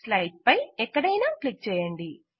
slide పై ఎక్కడైనా click చేయండి